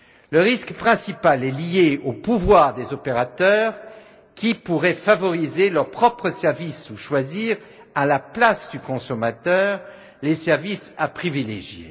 Le risque principal est lié au pouvoir des opérateurs qui pourraient favoriser leurs propres services ou choisir à la place du consommateur les services à privilégier.